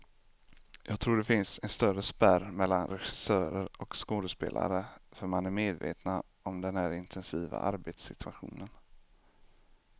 Jag tror det finns en större spärr mellan regissörer och skådespelare, för man är medvetna om den här intensiva arbetssituationen.